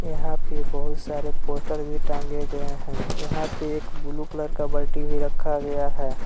यहां पे बहुत सारे पोस्टर भी टांगे गए हैं यहां पे एक ब्लू कलर का बाल्टी भी रखा गया है।